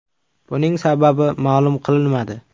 Buning sababi ma’lum qilinmadi.